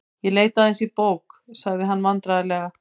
Ég leit aðeins í bók.- sagði hann vandræðalega.